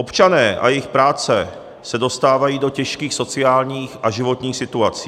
Občané a jejich práce se dostávají do těžkých sociálních a životních situací.